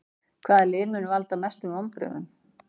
Hvaða lið mun valda mestum vonbrigðum?